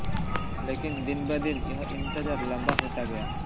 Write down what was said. लेकिन दिन ब दिन यह इंतजार लंबा होता गया